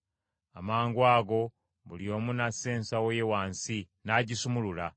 Amangwago buli omu nassa ensawo ye wansi n’agisumulula.